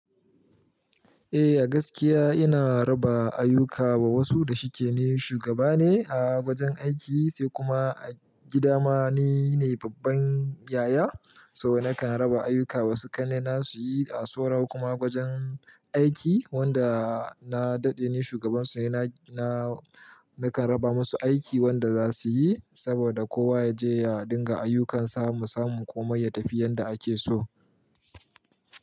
Eh a gaskiya ina raba ayyuka wa wasu da shike ni shugaba ne a wajen aiki, sai kuma a gida ma nine ne babban yaya. So nakan raba ayyuka wasu ƙannena suyi a saura kuma gwajen aiki wanda na dade ni shugaban su, na nakan raba masu aiki wanda za su yi saboda kowa ya je ya dinga ayyukan sa mu samu komai ya tafi yanda ake so.